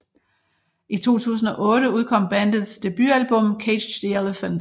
I 2008 udkom bandets debutalbum Cage The Elephant